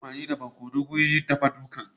An yi amfani da barkonon wurin yin dafa dukar